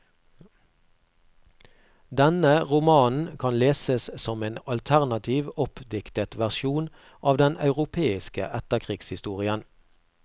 Denne romanen kan leses som en alternativ, oppdiktet versjon av den europeiske etterkrigshistorien.